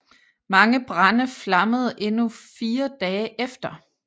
Mange brande flammede endnu fire dage efter